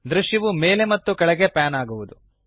ದ್ರಶ್ಯವು ಮೇಲೆ ಮತ್ತು ಕೆಳಗೆ ಪ್ಯಾನ್ ಆಗುವದು